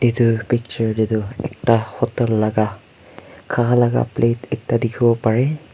etu picture teh tu ekta hotel laga kha laga plate ekta dikhibole pare.